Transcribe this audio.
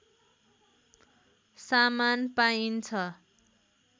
सामान पाइन्छ